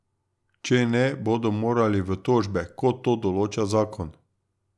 Če ne, bodo morali v tožbe, kot to določa zakon.